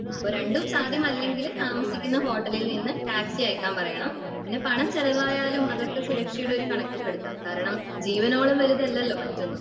ഇപ്പോ രണ്ടും സാധ്യമെല്ലെങ്കില് താമസിക്കുന്ന ഹോട്ടലിൽ നിന്ന് ടാക്സി അയക്കാൻ പറയണം.പിന്നെ പണം ചിലവായാലും അതൊക്കെ സുരക്ഷയുടെ കണക്കിൽ പെടുത്താം.കാരണം ജീവനോളം വെളുതല്ലല്ലോ മറ്റൊന്നും.